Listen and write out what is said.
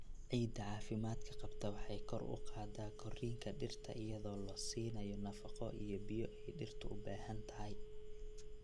Ciidda caafimaadka qabta waxay kor u qaadaa korriinka dhirta iyadoo la siinayo nafaqo iyo biyo ay dhirtu u baahan tahay.